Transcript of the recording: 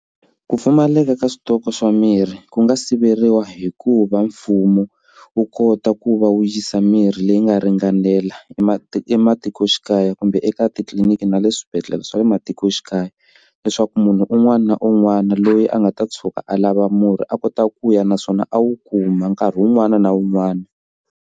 Ku pfumaleka ka switoko swa mirhi ku nga siveriwa hikuva mfumo wu kota ku va wu yisa mirhi leyi nga ringanela emati ematikoxikaya kumbe eka etitliliniki na le swibedhlele swa le matikoxikaya leswaku munhu un'wana na un'wana loyi a nga ta tshuka a lava murhi a kota ku ya naswona a wu kuma nkarhi wun'wana na wun'wana.